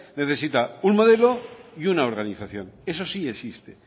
necesita un modelo y una organización eso sí existe